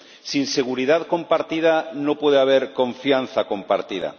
Sin seguridad compartida no puede haber confianza compartida.